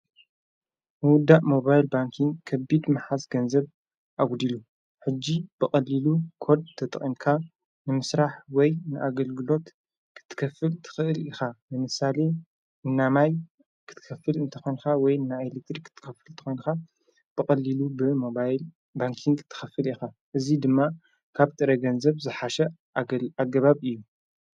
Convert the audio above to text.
ውዳእ ሞባይል ባንኪ ከቢድ መሓስ ገንዘብ ኣጕዲሉ ሕጅ በቐልሉ ኰድ ተተቕንካ ንምሥራሕ ወይ ንኣገልግሎት ኽትከፍል ትኽእል ኢኻ ንምሳሌ እናማይ ክትከፍል እንተኾንካ ወይ ና ኤሌትሪክ ኽትከፍል ተኾንካ በቐልሉ ብሞባይል ባንክን ትኸፍል ኢኻ እዙይ ድማ ካብ ጥረ ገንዘብ ዝሓሸ ኣገባብ እዩ።